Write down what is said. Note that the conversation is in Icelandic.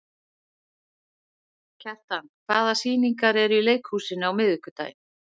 Kjartan, hvaða sýningar eru í leikhúsinu á miðvikudaginn?